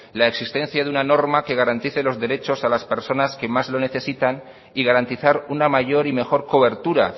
la existencia de una norma que garantice los derechos a las personas que más lo necesitan y garantizar una mayor y mejor cobertura